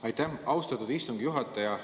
Aitäh, austatud istungi juhataja!